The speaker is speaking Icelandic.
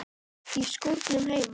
Í skúrnum heima.